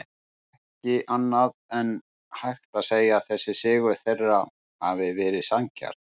Ekki annað en hægt að segja að þessi sigur þeirra hafi verið sanngjarn.